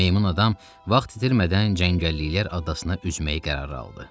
Meymun adam vaxt itirmədən cəngəlliklər adasına üzməyə qərar aldı.